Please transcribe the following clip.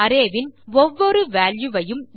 array வின் ஒவ்வொரு value வையும்